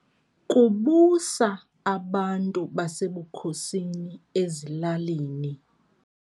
Kubusa abantu basebukhosini ezilalini.